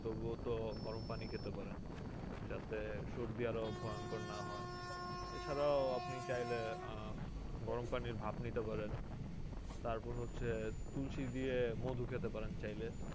তবুও তো গরম পানি খেতে পারেন যাতে সর্দি আরো ভয়ংকর না হয় এছাড়াও আপনি চাইলে আহ গরম পানির ভাপ নিতে পারেন তারপর হচ্ছে তুলসী দিয়ে মধু খেতে পারেন চাইলে